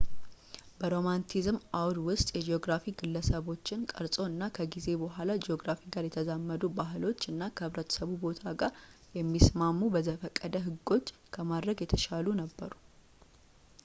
በሮማንቲሲዝም አውድ ውስጥ የጂኦግራፊ ግለሰቦችን ቀርጾ እናም ከጊዜ በኋላ ጂኦግራፊ ጋር የተዛመዱ ባሕሎች እና ከህብረተሰቡ ቦታ ጋር የሚስማሙ በዘፈቀደ ህጎች ከማድረግ የተሻሉ ነበሩ